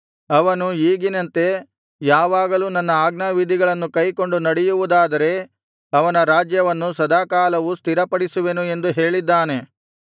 ಅವನು ಈಗಿನಂತೆ ಯಾವಾಗಲೂ ನನ್ನ ಆಜ್ಞಾವಿಧಿಗಳನ್ನು ಕೈಕೊಂಡು ನಡೆಯುವುದಾದರೆ ಅವನ ರಾಜ್ಯವನ್ನು ಸದಾಕಾಲವೂ ಸ್ಥಿರಪಡಿಸುವೆನು ಎಂದು ಹೇಳಿದ್ದಾನೆ